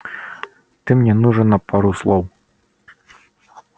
ты мне нужен на пару слов